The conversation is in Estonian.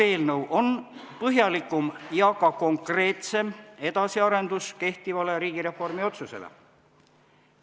Eelnõu on põhjalikum ja ka konkreetsem kehtiva riigireformi otsuse edasiarendus.